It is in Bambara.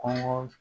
Kɔngɔ